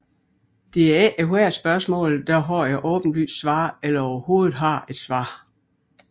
Det er ikke ethvert spørgsmål der har et åbenlyst svar eller overhovedet har et svar